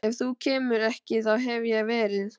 Ef þú kemur ekki þá hef ég verið